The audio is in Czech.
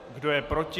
Kdo je proti?